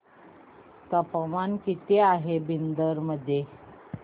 तापमान किती आहे बिदर मध्ये